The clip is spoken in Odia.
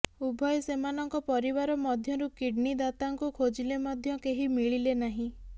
ଉଭୟ ସେମାନଙ୍କ ପରିବାର ମଧ୍ୟରୁ କିଡ୍ନି ଦାତାଙ୍କୁ ଖୋଜିଲେ ମଧ୍ୟ କେହି ମିଳିଲେ ନାହିଁ